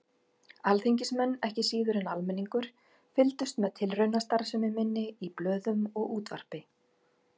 Alþingismenn, ekki síður en almenningur, fylgdust með tilraunastarfsemi minni í blöðum og útvarpi.